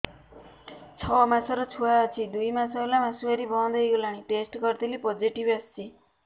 ଛଅ ମାସର ଛୁଆ ଅଛି ଦୁଇ ମାସ ହେଲା ମାସୁଆରି ବନ୍ଦ ହେଇଗଲାଣି ଟେଷ୍ଟ କରିଥିଲି ପୋଜିଟିଭ ଆସିଛି